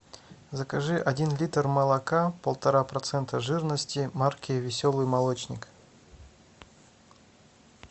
закажи один литр молока полтора процента жирности марки веселый молочник